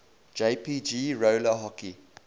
jpg roller hockey